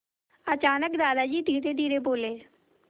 अचानक दादाजी धीरेधीरे बोले